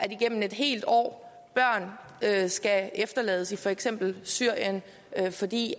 igennem et helt år skal efterlades i for eksempel syrien fordi